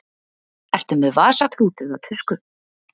Ertu með vasaklút eða tusku?